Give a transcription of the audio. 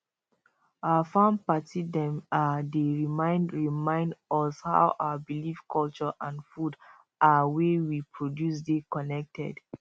our farm party dem um dey remind remind us how our believeculture and food um wey we produce dey connected